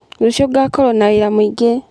Rũciũ ngakorwo na wĩra mũingĩ.